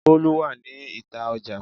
Bolu wà ní ìta Ọjà.